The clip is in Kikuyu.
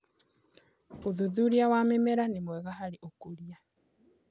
Ũthũthũrĩa wa mĩmera nĩ mwega harĩ ũkũrĩa